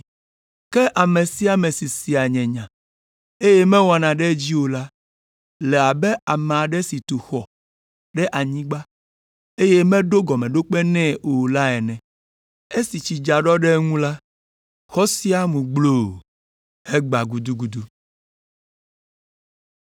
Ke ame si sea nye nya, eye mewɔna ɖe edzi o la le abe ame aɖe si tu eƒe xɔ ɖe anyigba, eye meɖo gɔmeɖokpe nɛ o la ene. Esi tsi dza ɖɔ ɖe eŋu la, xɔ sia mu gbloo, hegbã gudugudu.”